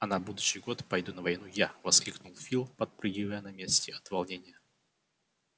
а на будущий год пойду на войну я воскликнул фил подпрыгивая на месте от волнения